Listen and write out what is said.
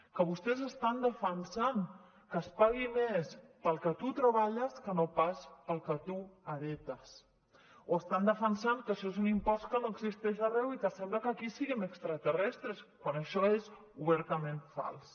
que vostès estan defensant que es pagui més pel que tu treballes que no pas pel que tu heretes o estan defensant que això és un impost que no existeix arreu i que sembla que aquí siguem extraterrestres quan això és obertament fals